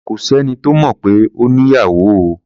Kò sẹ́ni tó mọ̀ pé ó ní ìyàwó o.